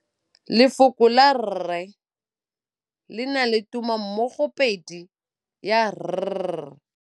Lefoko la rre le na le tumammogôpedi ya, r.